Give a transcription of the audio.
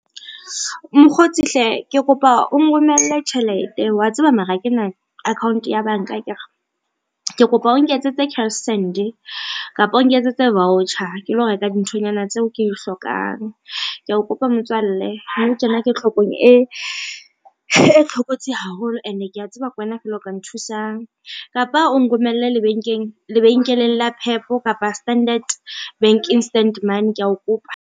Mokgotsi hle ke kopa o nromelle tjhelete wa tseba mara kena account ya banka akere. Ke kopa o nketsetse cashsend kapa o nketsetse voucher ke lo reka dinthonyana tseo ke dihlokang, kea o kopa motswalle nou tjena ke hlokong e hlokotsi haholo ene kea tseba kwena fela o ka nthusang. Kapa o nromelle lebenkeleng la PEP kapa Standard Bank instant money kea o kopa.